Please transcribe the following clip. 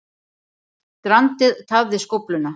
Strandið tafði skófluna